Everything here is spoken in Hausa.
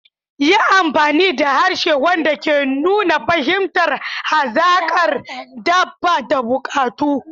Yi amfani da harshe wanda ke nuna fahimtar hazakar dabba da bukatu.